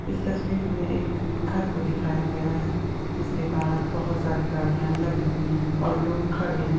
इस तस्वीर में एक घर को दिखाया गया है जिसके बाहर बहुत सारी गाड़ियां लगी हुई है और लोग खड़े हैं।